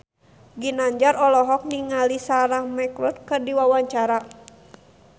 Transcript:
Ginanjar olohok ningali Sarah McLeod keur diwawancara